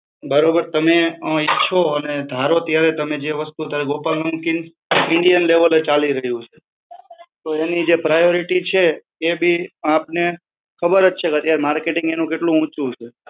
બરોબર? તમે અ ઈચ્છો અન ધારો ત્યારે તમે જે વસ્તુ ગોપાલ નમકીન્સ Indian લેવલે ચાલી રહ્યું છે, તો એની જે priority છે, તે બી આપણે ખબર જ છે, કે અત્યારે marketing એનું કેટલું ઊંચું છે.